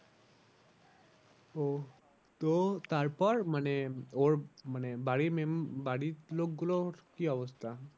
ওহ তো তারপর মানে ওর মানে বাড়ির বাড়ির লোক গুলোর কি অবস্থা?